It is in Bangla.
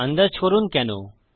আন্দাজ করুন কেন